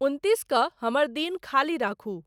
उनत्तीस क हमर दिन खालि रखूँ